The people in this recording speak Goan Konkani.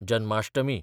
जन्माष्टमी